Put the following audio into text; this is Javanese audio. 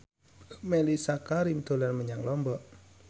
Mellisa Karim dolan menyang Lombok